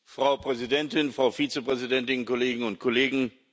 Frau Präsidentin, Frau Vizepräsidentin, Kolleginnen und Kollegen!